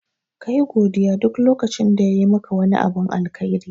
Kayi godiya duk lokacin da yayi maka wani abin alkhairi.